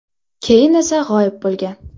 Keyin esa g‘oyib bo‘lgan.